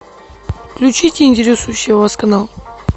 включите интересующий вас канал